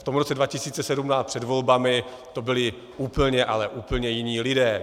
V tom roce 2017 před volbami to byli úplně, ale úplně jiní lidé.